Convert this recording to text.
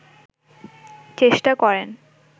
চেষ্টা করেন